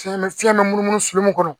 Fiɲɛ bɛ fiɲɛ bɛ munumunu mun kɔnɔ